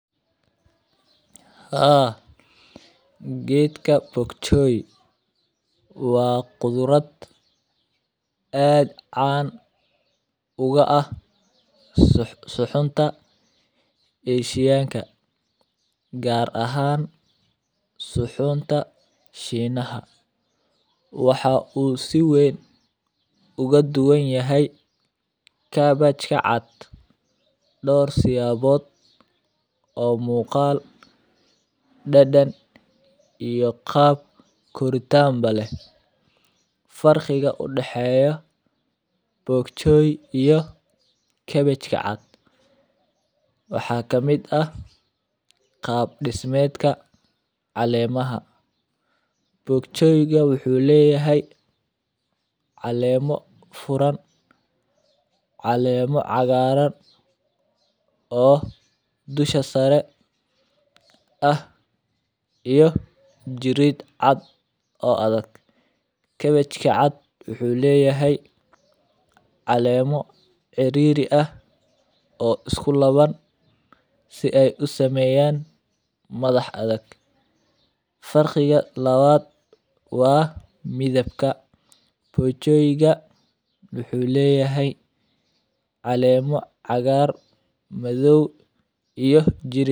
Haa, geedka bok choy waa qudurad aad caan uga ah sax suxunta Eeshiyaanka. Gaar ahaan suxunta Shiinaha. Waxa uu si weyn uga duwan yahay kaabajka cad, dhoor siyaabood oo muuqaal, daddan iyo qaab koritaan bale. Farxiga u dhaxeeysa bok choy iyo kaabajka cad waxaa ka mida qaab dhismeedka caleemaha. Bok Choy ga wuxuu leeyahay caleemo furan, caleemo cagaaran oo dusha sare ah iyo jirid cad oo adag. Kaabajka cad wuxuu leeyahay caleemo ciriiri ah oo isku laban si ay u sameeyaan madax adag. Farxiga labaad waa midabka. Bok Choy ga wuxuu leeyahay caleemo cagaaran madow iyo jirid.